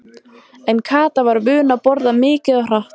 En Kata var vön að borða mikið og hratt.